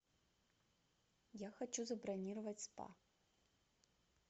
я хочу забронировать спа